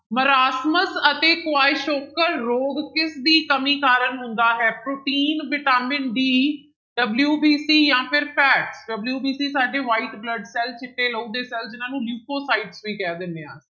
ਮਰਾਸਮਕ ਅਤੇ ਕੁਆਈਸੋਕਰ ਰੋਗ ਕਿਸਦੀ ਕਮੀ ਕਾਰਨ ਹੁੰਦਾ ਹੈ, ਪ੍ਰੋਟੀਨ ਵਿਟਾਮਿਨ d WBC ਜਾਂ ਫਿਰ fat WBC ਸਾਡੇ white blood cells ਚਿੱਟੇ ਲਹੂ ਦੇ ਸੈਲ ਜਿਹਨਾਂ ਨੂੰ ਲਿਪੋਸਾਇਡ ਵੀ ਕਹਿ ਦਿੰਦੇ ਹਾਂ।